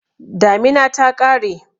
Damina ta ƙare.